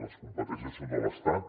les competències són de l’estat